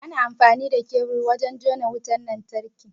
Ana amfani da kebur wurin jona wutan lantarki.